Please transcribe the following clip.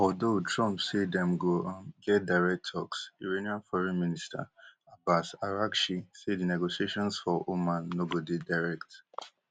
although trump say dem go um get direct talks iranian foreign minister abbas araghchi say di negotiations for oman no go dey direct